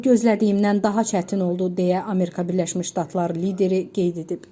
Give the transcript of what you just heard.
Bu gözlədiyimdən daha çətin oldu, deyə Amerika Birləşmiş Ştatları lideri qeyd edib.